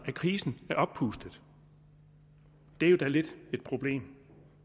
at krisen er oppustet det er jo da lidt af et problem